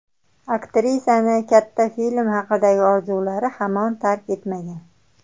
Aktrisani katta film haqidagi orzulari hamon tark etmagan.